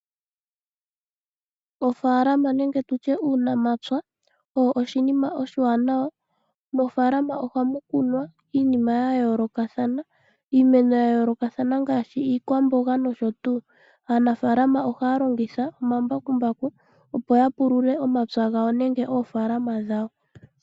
Ofaalama nenge tutye uunamapya owo oshinima oshiwanawa. Mofaalama ohamu kunwa iinima yayoolokathana. Iimeno yayoolokathana ngaashi iikwamboga nosho tuu. Aanafalama ohaya longitha omambakumbaku opo yapulule omapya gawo nenge oofalama dhawo.